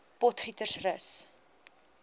potgietersrus